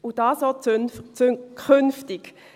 Und dies auch künftig.